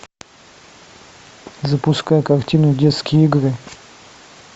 запускай картину детские игры